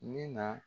Min na